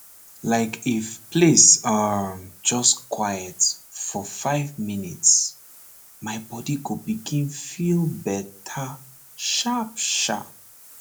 like if place um just quiet for five minutes my body go begin feel better sharpsharp